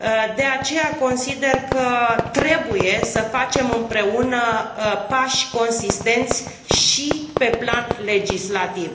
De aceea, consider că trebuie să facem împreună pași consistenți și pe plan legislativ.